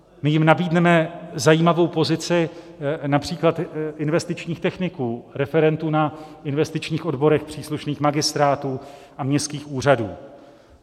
My jim nabídneme zajímavou pozici například investičních techniků, referentů na investičních odborech příslušných magistrátů a městských úřadů.